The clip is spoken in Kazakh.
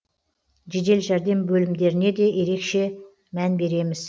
жедел жәрдем бөлімдеріне де ерекше мән береміз